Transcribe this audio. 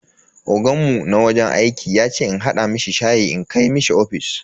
Oganmu na wajen aiki yace in hada mishi shayi in kai mishi ofis.